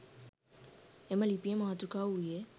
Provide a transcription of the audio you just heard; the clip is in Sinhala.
එම ලිපියේ මාතෘකාව වූයේ